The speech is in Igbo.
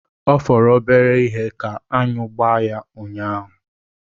Ọ fọrọ obere ihe ka aṅụ gbaa ya unyaahụ.